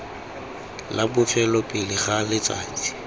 la bofelo pele ga letsatsi